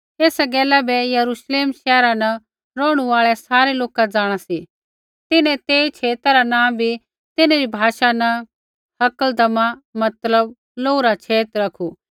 एसा गैला बै यरूश्लेम शैहरा न रौहणु आल़ै सारै लोका जाँणा सी तिन्हैं तेई छेता रा नाँ बी तिन्हरी भाषा न हकलदमा मतलब लोहू रा छेत रखू